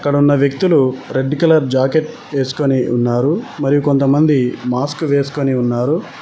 ఇక్కడ ఉన్న వ్యక్తులు రెడ్ కలర్ జాకెట్ వేసుకొని ఉన్నారు మరి కొంతమంది మాస్క్ వేసుకొని ఉన్నారు.